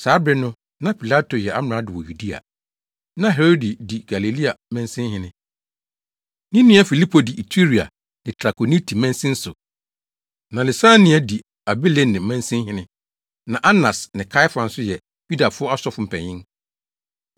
Saa bere no na Pilato yɛ amrado wɔ Yudea, na Herode di Galilea mansinhene; ne nua Filipo di Iturea ne Trakoniti mansin so, na Lisania di Abilene mansinhene, na Anas ne Kaiafa nso yɛ Yudafo asɔfo mpanyin.